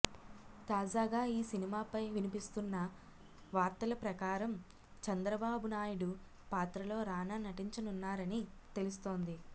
తాజాగా ఈ సినిమాపై వినిపిస్తున్న వార్తల ప్రకారం చంద్రబాబు నాయుడు పాత్రలో రానా నటించనున్నారని తెలుస్తోంది